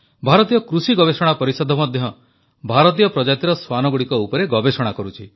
ଭାରତୀୟ କୃଷି ଗବେଷଣା ପରିଷଦ ମଧ୍ୟ ଭାରତୀୟ ପ୍ରଜାତିର ଶ୍ୱାନଗୁଡ଼ିକ ଉପରେ ଗବେଷଣା କରୁଛି